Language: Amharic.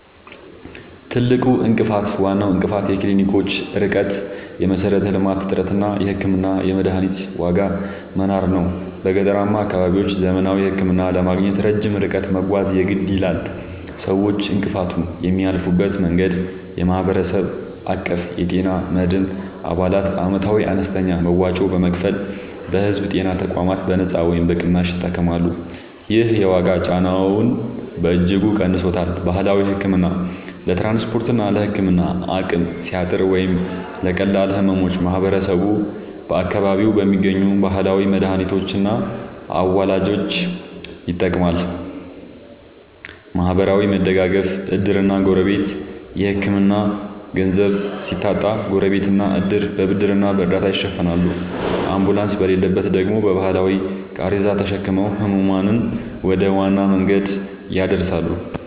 ትልቁ እንቅፋት፦ ዋናው እንቅፋት የክሊኒኮች ርቀት (የመሠረተ-ልማት እጥረት) እና የሕክምናና የመድኃኒት ዋጋ መናር ነው። በገጠራማ አካባቢዎች ዘመናዊ ሕክምና ለማግኘት ረጅም ርቀት መጓዝ የግድ ይላል። ሰዎች እንቅፋቱን የሚያልፉበት መንገድ፦ የማህበረሰብ አቀፍ የጤና መድን፦ አባላት ዓመታዊ አነስተኛ መዋጮ በመክፈል በሕዝብ ጤና ተቋማት በነጻ ወይም በቅናሽ ይታከማሉ። ይህ የዋጋ ጫናውን በእጅጉ ቀንሶታል። ባህላዊ ሕክምና፦ ለትራንስፖርትና ለሕክምና አቅም ሲያጥር ወይም ለቀላል ሕመሞች ማህበረሰቡ በአካባቢው በሚገኙ ባህላዊ መድኃኒቶችና አዋላጆች ይጠቀማል። ማህበራዊ መደጋገፍ (ዕድርና ጎረቤት)፦ የሕክምና ገንዘብ ሲታጣ ጎረቤትና ዕድር በብድርና በእርዳታ ይሸፍናሉ፤ አምቡላንስ በሌለበት ደግሞ በባህላዊ ቃሬዛ ተሸክመው ሕሙማንን ወደ ዋና መንገድ ያደርሳሉ።